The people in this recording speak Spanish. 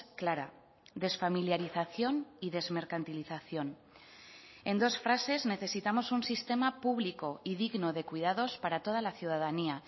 clara desfamiliarización y desmercantilización en dos frases necesitamos un sistema público y digno de cuidados para toda la ciudadanía